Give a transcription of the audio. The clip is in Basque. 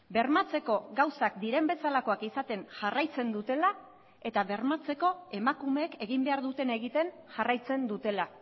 bermatzeko gauzak diren bezalakoak izaten jarraitzen dutela eta bermatzeko emakumeek egin behar dutena egiten jarraitzen dutela